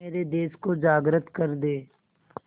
मेरे देश को जागृत कर दें